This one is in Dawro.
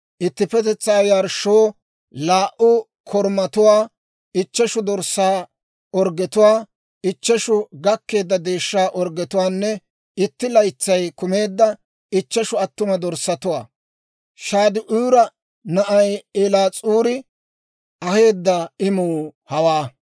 ittippetetsaa yarshshoo laa"u korumatuwaa, ichcheshu dorssaa orggetuwaa, ichcheshu gakkeedda deeshshaa orggetuwaanne itti laytsay kumeedda ichcheshu attuma dorssatuwaa. Shade'uura na'ay Eliis'uuri aheedda imuu hawaa.